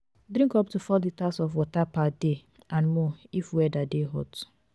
drink up to 4 liters of water per day and more if weather de hot